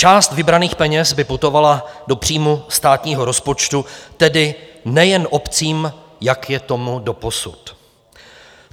Část vybraných peněz by putovala do příjmu státního rozpočtu, tedy nejen obcím, jak je tomu doposud.